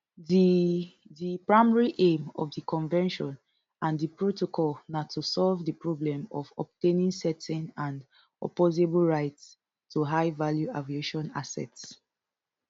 di di primary aim of di convention and di protocol na to solve di problem of obtaining certain and opposable rights to highvalue aviation assets